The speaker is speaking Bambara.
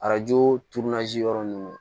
Arajo yɔrɔ ninnu